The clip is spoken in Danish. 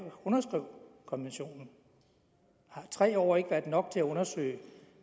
underskrev konventionen har tre år ikke været nok til at undersøge